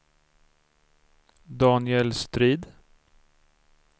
Daniel Strid